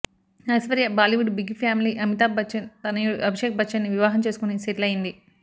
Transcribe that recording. Aishwarya Bollywood big family Amitabh Bachchan తనయుడు అభిషేక్ బచ్చన్ని వివాహం చేసుకుని సెటిల్ అయ్యింది